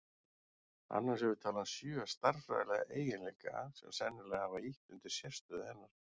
Annars hefur talan sjö stærðfræðilega eiginleika sem sennilega hafa ýtt undir sérstöðu hennar.